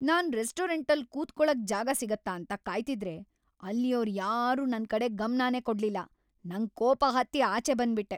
ನಾನ್ ರೆಸ್ಟೋರಂಟಲ್ಲ್ ಕೂತ್ಕೊಳಕ್‌ ಜಾಗ ಸಿಗತ್ತಾ ಅಂತ ಕಾಯ್ತಿದ್ರೆ ಅಲ್ಲಿಯೋರ್ಯಾರೂ ನನ್ ಕಡೆ ಗಮ್ನನೇ ಕೊಡ್ಲಿಲ್ಲ, ನಂಗ್‌ ಕೋಪ ಹತ್ತಿ ಆಚೆ ಬಂದ್ಬಿಟ್ಟೆ.